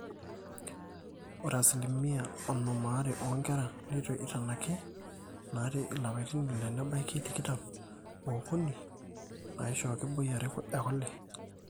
ore asilimia onom aare oonkera neitu eitanaki naata ilapaitin ile nebaiki tikitam ookuni naaishooki boi are ekule